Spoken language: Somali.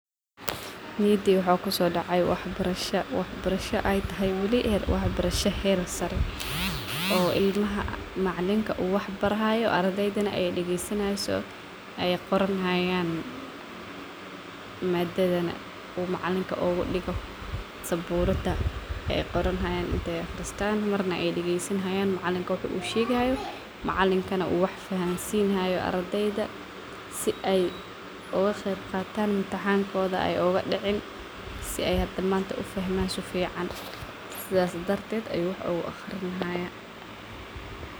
Niyaday waxa kusodace waxa barasha. Waxa barasha ay tahay heer saare oo ilmaha macalinka waxabarahayo ardaydana aydagesanayso ay qoronahayan madadhana macalinka oo ugadigo saburada ay goranahayan mark ay aqristan marna ay dagesanayan macalinka waxa ushegayo macalinkana wax fahasinayo ardayda sii ay ugaqebqatan imtixankodhi ay ugadicin sii ay manta ufahman sii fican sidhas darteet ay wax uqu aqrinaya .